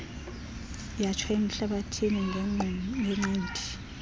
yatsho emhlathini ngenqindi